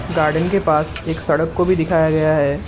Garden के पास एक सड़क को भी दिखाया गया है।